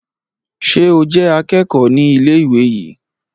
Ṣé o jé akẹ́kọ̀ọ́ ní ilé ìwé yìí